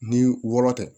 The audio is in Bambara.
Ni wɔɔrɔ tɛ